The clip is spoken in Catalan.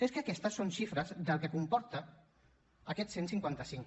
és que aquestes són xifres del que comporta aquest cent i cinquanta cinc